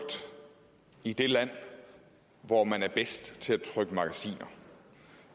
i det land hvor man er bedst til at trykke magasiner